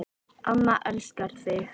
Amma elskar þig